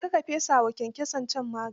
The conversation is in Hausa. Je ka ka fesa wa kyankyason can magani.